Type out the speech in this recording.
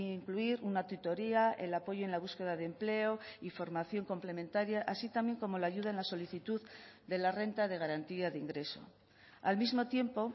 incluir una tutoría el apoyo en la búsqueda de empleo y formación complementaria así también como la ayuda en la solicitud de la renta de garantía de ingreso al mismo tiempo